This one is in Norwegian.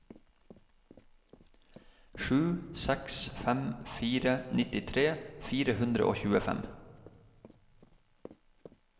sju seks fem fire nittitre fire hundre og tjuefem